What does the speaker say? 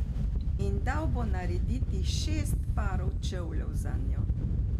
In dal bo narediti šest parov čevljev zanjo.